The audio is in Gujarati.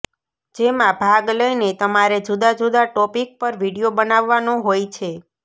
જેમાં ભાગ લઈને તમારે જુદા જુદા ટોપિક પર વીડિયો બનાવવાનો હોય છે